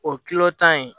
O kilo tan in